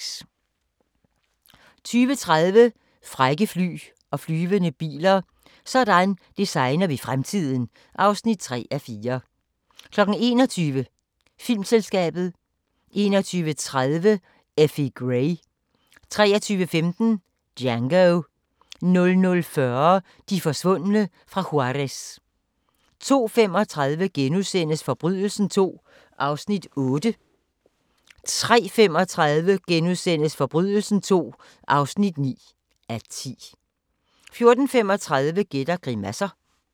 20:30: Frække fly og flyvende biler - sådan designer vi fremtiden (3:4) 21:00: Filmselskabet 21:30: Effie Gray 23:15: Django 00:40: De forsvundne fra Juárez 02:35: Forbrydelsen II (8:10)* 03:35: Forbrydelsen II (9:10)* 04:35: Gæt og grimasser